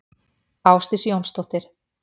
Ásdís Jónsdóttir.